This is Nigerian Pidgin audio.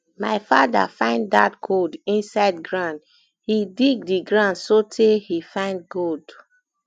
my father find dat gold inside ground um he dig the ground so tey he find gold